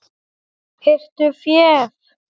Hirtu féð!